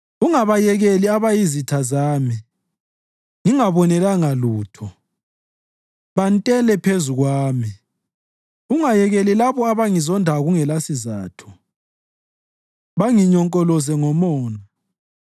Ungabayekeli abayizitha zami ngingabonelanga lutho, bantele phezu kwami. Ungayekeli labo abangizondayo kungelasizatho, banginyonkoloze ngomona.